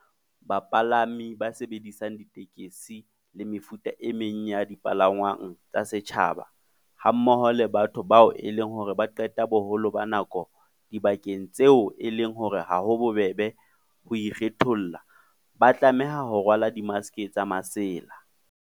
Bapalami ba sebedisang ditekesi le mefuta e meng ya dipalangwang tsa setjhaba, hammoho le batho bao e leng hore ba qeta boholo ba nako dibakeng tseo e leng hore ha ho bobebe ho ikgetholla, ba tlameha ho rwala dimaske tsa masela.